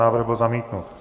Návrh byl zamítnut.